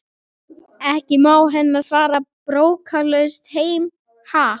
Ekki má hann fara brókarlaus heim, ha?